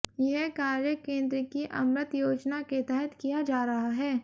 यह कार्य केंद्र की अमृत योजना के तहत किया जा रहा है